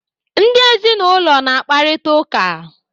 Ndị ezinụlọ na-akparịta ụka.